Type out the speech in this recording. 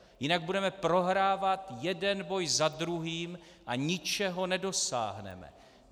Jinak budeme prohrávat jeden boj za druhým a ničeho nedosáhneme.